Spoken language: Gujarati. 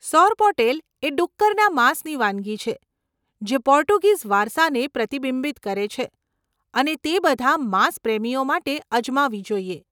સોરપોટેલ એ ડુક્કરના માંસની વાનગી છે જે પોર્ટુગીઝ વારસાને પ્રતિબિંબિત કરે છે અને તે બધા માંસ પ્રેમીઓ માટે અજમાવી જોઈએ.